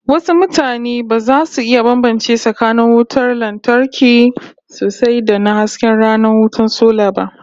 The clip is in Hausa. Wasu mutanen ba za su iya bambance tsakanin kayan wutar lantarkin sosai da na hasken rana wato sola ba